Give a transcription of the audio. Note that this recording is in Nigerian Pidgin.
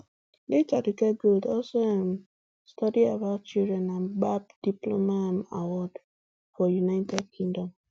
late aduke gold also um study about children and gbab diploma um award for united kingdom